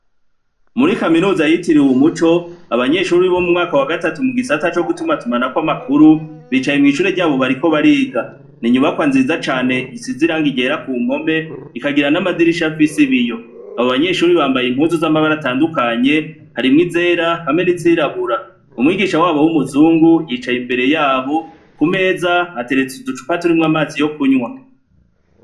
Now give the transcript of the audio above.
Muri kaminuza yitiriwe Umuco, abanyeshure bo muwa gatatu mu gisata co gutumatumanako amakuru bicaye mw'ishure ryabo bariko bariga. N'inyubakwa nziza cane, isize irangi ryera ku mpome rikagira n'amadirisha afise ibiyo. Abo banyeshure bambaye impuzu z'amabara atandukanye, harimwo izera n'izirabura. Umwigisha wabo w'umuzungu yicaye inyuma yabo, ku meza hateretse uducupa turimwo amazi yo kunwa.